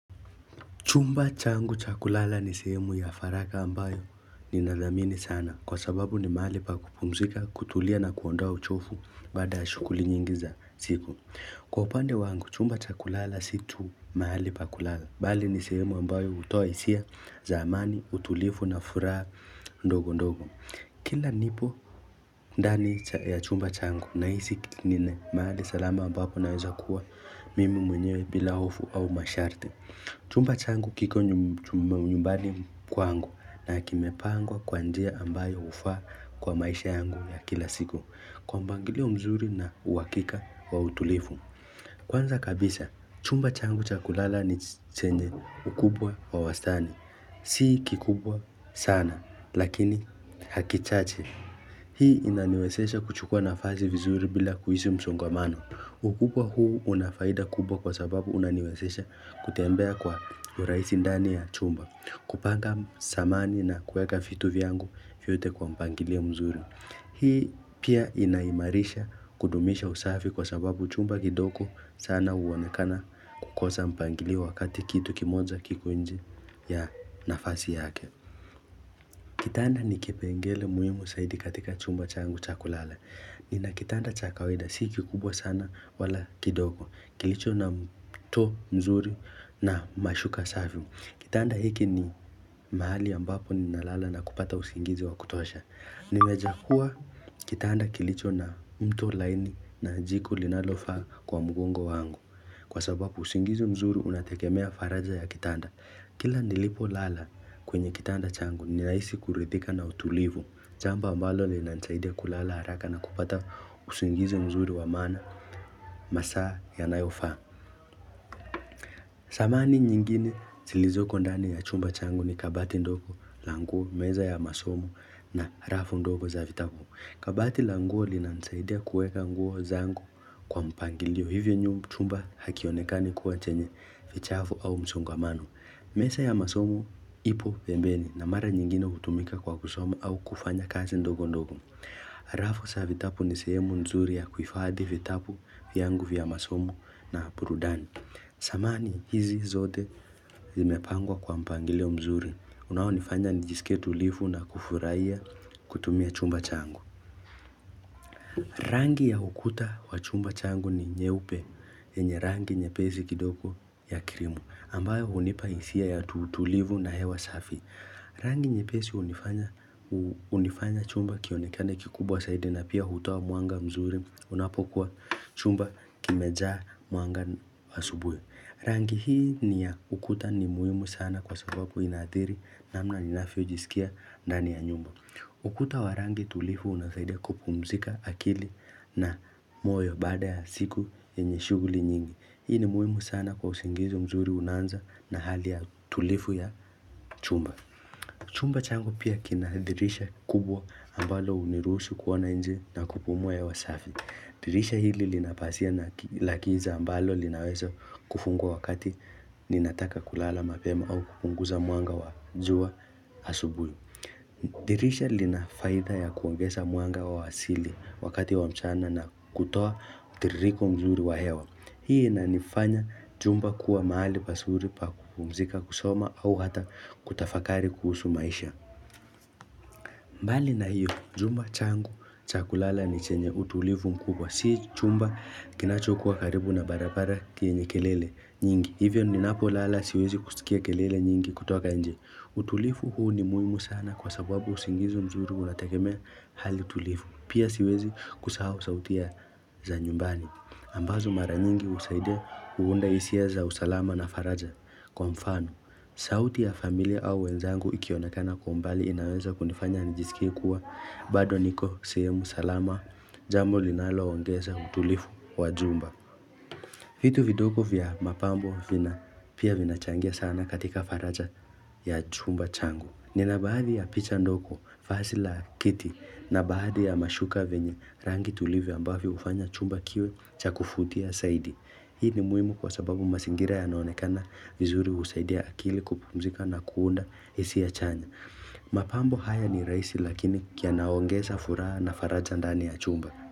Chumba changu cha kulala ni sehemu ya faraja ambayo ninadhamini sana. Kwa sababu ni mahali pa kupumzika, kutulia na kuondoa uchovu baada shughuli nyingi za siku. Kwa upande wangu, chumba cha kulala si tu mahali pa kulala. Bali ni sehemu ambayo hutoa hisia zaamani, utulivu na furaha ndogo ndogo. Kila nipo ndani ya chumba changu nahisi nina mahali salama ambapo naeza kuwa mimi mwenye bila hofu au masharti. Chumba changu kiko nyumbani kwangu na kimepangwa kwa njia ambayo hufaa kwa maisha yangu ya kila siku kwa mpangilio mzuri na uhakika wa utulivu. Kwanza kabisa, chumba changu cha kulala ni chenye ukubwa wa wastani. Si kikubwa sana lakini hakichache. Hii inaniwezesha kuchukua nafasi vizuri bila kuishi msongamano. Ukubwa huu unafaida kubwa kwa sababu unaniwasesha kutembea kwa urahisi ndani ya chumba, kupaka samani na kueka vitu vyangu vyote kwa mpangilio mzuri. Hii pia inaimarisha kudumisha usafi kwa sababu chumba kidogo sana huonekana kukosa mpangilio wakati kitu kimoja kiko nje ya nafasi yake. Kitanda ni kipengele muhimu zaidi katika chumba changu cha kulala. Nina kitanda cha kawaida, si kikubwa sana wala kidogo. Kilicho na mto mzuri na mashuka safi. Kitanda hiki ni mahali ambapo ni nalala na kupata usingizi wa kutosha. Nimechagua kitanda kilicho na mto laini na jiko linalofaa kwa mgongo wangu. Kwa sababu usingizi mzuri unategemea faraja ya kitanda. Kila nilipo lala kwenye kitanda changu ni rahisi kuridhika na utulivu. Jambo ambalo linansaidia kulala haraka na kupata usingizi mzuri wamaana masaa ya nayofaa. Samani nyingine zilizoko ndani ya chumba changu ni kabati ndogo la nguo, meza ya masomo na rafu ndogo za vitabu. Kabati la nguo linanisaida kueka nguo zangu kwa mpangilio. Hivyo chumba hakionekani kuwa chenye vichafu au msongamano. Meza ya masomo ipo pembeni na mara nyingine hutumika kwa kusoma au kufanya kazi ndogo ndogo. Rafu za vitabu ni sehemu nzuri ya kuhifadhi vitabu vyangu vya masomo na burudani. Samani hizi zote zimepangwa kwa mpangilio mzuri. Unao nifanya nijisike tulifu na kufurahia kutumia chumba changu. Rangi ya ukuta wa chumba changu ni nyeupe enye rangi nyepesi kidoko ya krimu. Ambayo hunipa hisia ya utulivu na hewa safi. Rangi nyepesi unifanya chumba kionekane kikubwa zaidi na pia hutua mwanga mzuri unapokuwa chumba kimejaa mwanga asubuhi Rangi hii ni ya ukuta ni muhimu sana kwa sababu inaathiri namna ninavyojisikia ndani ya nyumba. Ukuta wa rangi tulivu unasaidi kupumzika akili na moyo bada ya siku yenye shuguli nyingi. Hii ni muhimu sana kwa usingizi mzuri unanza na hali ya tulifu ya chumba Chumba changu pia kina dirisha kubwa ambalo hunirusu kuona nje na kupumua hewa safi dirisha hili lina pazia na la kiza ambalo linawezo kufungwa wakati ninataka kulala mapema au kupunguza mwanga wa jua asubuhi dirisha linafaida ya kuongesa mwanga wa wasili wakati wa mchana na kutoa mtiririko mzuri wa hewa Hii inanifanya chumba kuwa mahali pazuri pa kupumzika kusoma au hata kutafakari kuhusu maisha. Mbali na hiyo, chumba changu, cha kulala ni chenye utulifu mkubwa. Si chumba kinachokuwa karibu na barabara enye kelele nyingi. Hivyo ninapo lala siwezi kuskia kelele nyingi kutoka nje. Utulivu huu ni muhimu sana kwa sababu usingizi mzuri unategemea hali tulivu. Pia siwezi kusahau sauti za nyumbani. Ambazo mara nyingi husaidia kuunda hisia za usalama na faraja kwa mfano. Sauti ya familia au wenzangu ikionekana kwa umbali inaweza kunifanya nijisikie kuwa bado niko sehemu salama jambo linaloongeza utulivu wa chumba. Vitu vidogo vya mapambo vina pia vina changia sana katika faraja ya chumba changu. Nina baadi ya picha ndogo, vazi la kiti na baadhi ya mashuka venye rangi tulivu ambavo hufanya chumba kiwe cha kuvutia zaidi. Hii ni muhimu kwa sababu mazingira yanaonekana vizuri husaidia akili kupumzika na kuunda hisia chanya. Mapambo haya ni rahisi lakini yanaongeza furaha na faraja ndani ya chumba.